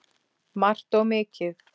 Margt og mikið.